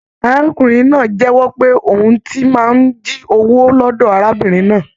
Arákùnrin náà jẹ̀wọ́ pé òhun tí màá n jí owó lọdọ arábìnrin náà.